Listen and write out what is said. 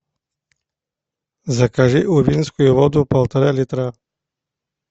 закажи увинскую воду полтора литра